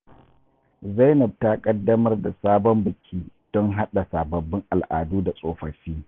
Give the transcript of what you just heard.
Zainab ta kaddamar da sabon biki don haɗa sababbin al’adu da tsofaffi.